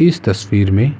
इस तस्वीर में